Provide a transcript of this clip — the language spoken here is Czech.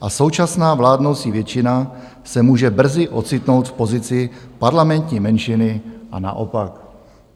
a současná vládnoucí většina se může brzy ocitnout v pozici parlamentní menšiny a naopak."